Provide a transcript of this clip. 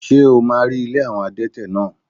Ṣé o máa rí ilé àwọn adẹ́tẹ̀ náà?